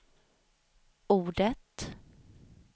ordet